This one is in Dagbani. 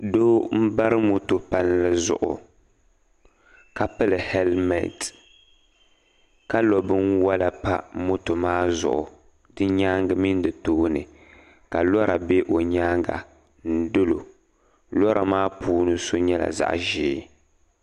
Doo n bari moto palli zuɣu ka pili helment ka lo binwala pamoto maa zuɣu di nyaanga mini di tooni ka lora bɛ o nyaanga n dolo lora maa puuni so nyɛla zaɣ ʒiɛ